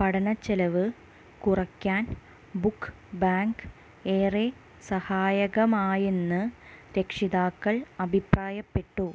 പഠന ചെലവ് കുറയ്ക്കാൻ ബുക്ക് ബാങ്ക് ഏറെ സഹായകമായെന്ന് രക്ഷിതാക്കൾ അഭിപ്രായപ്പെട്ടു